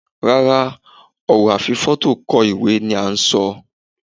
Rárá, ọ̀rọ̀ a fi fóto kọ ìwé ni an ń ṣọ.